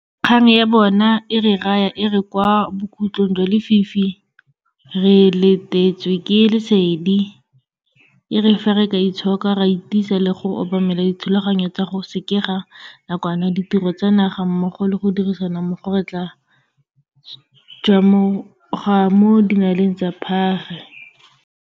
Kgang ya bona e re raya e re kwa bokhutlhong jwa lefifi re letetswe ke lesedi, e re fa re ka itshoka, ra itisa le go obamela dithulaganyo tsa go sekega nakwana ditiro tsa naga mmogo le go dirisana mmogo, re tla tšhwamoga mo dinaleng tsa phage.